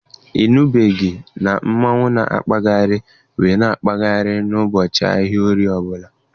Ị nụbeghị na mmonwu na-akpagharị waa akpagharị n'ụbọchị ahịa Orie ọ bụla?